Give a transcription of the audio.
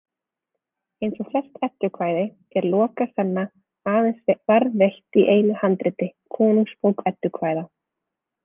Eins og flest eddukvæði er Lokasenna aðeins varðveitt í einu handriti, Konungsbók eddukvæða.